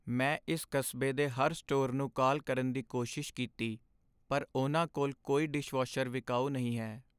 ਮੈਂ ਇਸ ਕਸਬੇ ਦੇ ਹਰ ਸਟੋਰ ਨੂੰ ਕਾਲ ਕਰਨ ਦੀ ਕੋਸ਼ਿਸ਼ ਕੀਤੀ, ਪਰ ਉਹਨਾਂ ਕੋਲ ਕੋਈ ਡਿਸ਼ਵਾਸ਼ਰ ਵਿਕਾਊ ਨਹੀਂ ਹੈ।